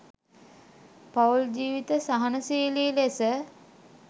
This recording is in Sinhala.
පවුල් ජීවිත සහනශීලි ලෙස